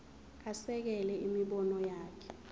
asekele imibono yakhe